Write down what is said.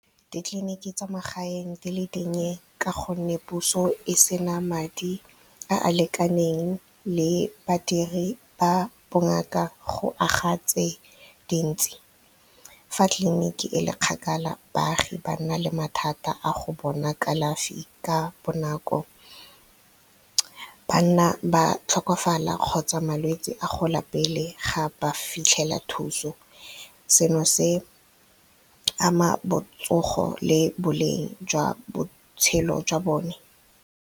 Ditleliniki tsa magaeng di le dinnye ka gonne puso e sena madi a a lekaneng le badiri ba bongaka go aga tse dintsi. Fa tliliniki e le kgakala baagi ba nna le mathata a go bona kalafi ka bonako ba nna ba tlhokofala kgotsa malwetse a gola pele ga ba fitlhela thuso seno se ama botsogo le boleng jwa botshelo jwa bone.